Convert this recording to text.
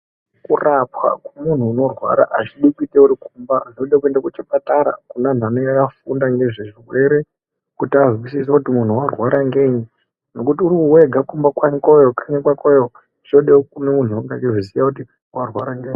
Kurapwa kwemuntu unorwara hazvidi uri kumba zvinode kuenda kuchipatara kune vantu vanenge vakafunda ngezve zvirwere kuti vahwisise kuti muntu arwara ngenyi. Ngekuti uri wega kumba kwakoyo, kukanyi kwakoyo zvinoda muntu anenge achiziva kuti arwara ngenyi.